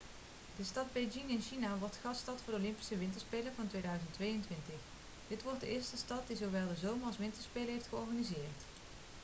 de stad beijing in china wordt de gaststad voor de olympische winterspelen van 2022 dit wordt de eerste stad die zowel de zomer als winterspelen heeft georganiseerd